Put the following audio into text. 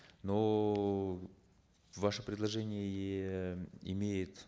но ваше предложение имеет